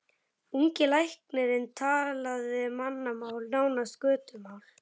Ungi læknirinn talaði mannamál, nánast götumál.